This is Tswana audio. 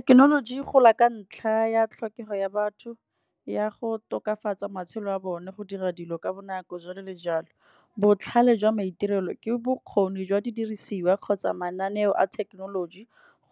Thekenoloji e gola ka ntlha ya tlhokego ya batho ya go tokafatsa matshelo a bone, go dira dilo ka bonako jalo le jalo. Botlhale jwa maitirelo ke bokgoni jwa didirisiwa kgotsa mananeo a thekenoloji,